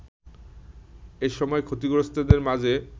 এসময় ক্ষতিগ্রস্তদের মাঝে